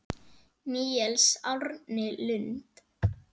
Níels Árni Lund.